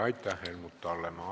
Aitäh, Helmut Hallemaa!